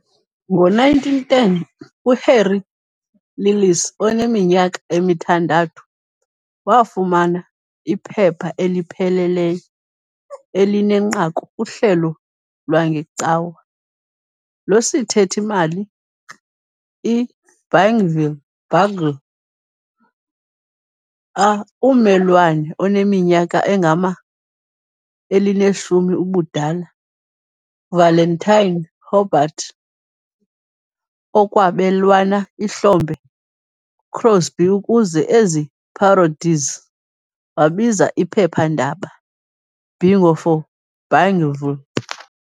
Ngo- 1910 uHarry Lillis oneminyaka emithandathu wafumana iphepha elipheleleyo "elinenqaku kuhlelo lwangeCawa loSithethi-mali", i "-Bingville Bugle" . A ummelwane oneminyaka engama-elinesihlanu ubudala, Valentine Hobart, ekwabelwana ihlombe Crosby ukuze ezi parodies wabiza iphephandaba "Bingo" for "Bingville."